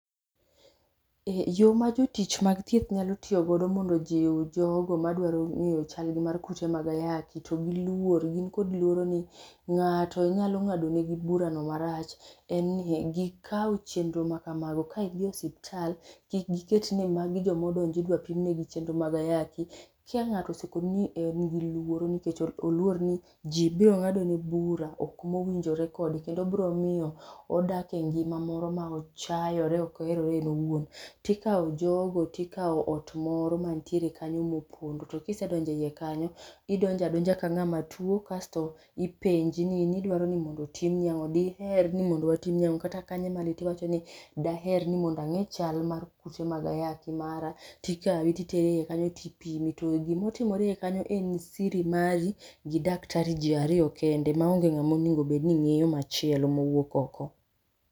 Yo ma jotich mag thieth nyalo tiyo godo mondo ojiw jogo madwa ng'eyo chal gimar kute mag ayaki to giluor, gin kod luoro ni ng'ato nyalo ng'ado nego burano marach. En ni gikaw chenro makamago ka gidhi osiptal, kik giketi ni magi joma odonjo idwa pim negi chenro mag ayaki. Ka ng'ato osekoni ni en giluoro, nikech oluor ni ji biro ng'ado ne bura ok winjore kode kendo biro miyo odak e ngima moro ma ochayore ok oherore en owuon. To ikawo jogo, to ikawo ot moro mantiere kanyo mopondo to ka isedonjo eiye kanyo, idonjo adonja kang'ama tuo, kasto ipenji ni in idwaro ni mondo otimni ang'o. Diher ni mondo watimni ang'o, kanye madi tiwacho ni daher ni mondo ang'e chal mar kute mag ayaki mara. Tikawi titeri eiye kanyo tipimi, to gima otimore eiye kanyo en siri mari gi daktari ji ariyo kende maonge ng'ama onego bed ning'eyo machielo mowuok oko.